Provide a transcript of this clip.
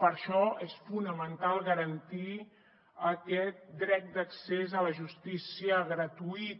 per això és fonamental garantir aquest dret d’accés a la justícia gratuïta